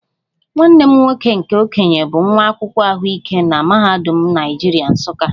Nwanne m nwoke nke okenye bụ nwa akwụkwọ ahụike na Mahadum Naijiria, Nsukka